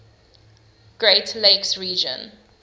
great lakes region